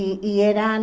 E e eram...